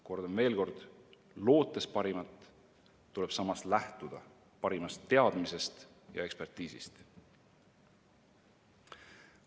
Kordan veel kord: lootes parimat, tuleb samas lähtuda parimast teadmisest ja ekspertiisist.